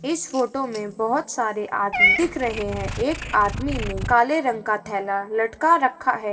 इस फोटो में बहोत सारे आदमी दिख रहे हैं। एक आदमी ने काले रंग का थैला लटका रखा है।